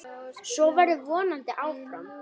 Svo verður vonandi áfram.